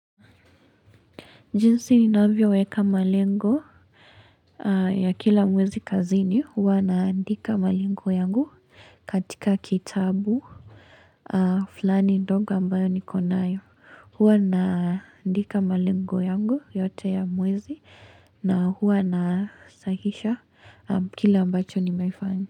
Jinsi ni navyoweka malengo ya kila mwezi kazini. Huwa naandika malengo yangu katika kitabu. Fulani ndogo ambayo niko nayo. Hwa naandika malengo yangu yote ya mwezi. Na huwa nasahisha kile ambacho nimeifanya.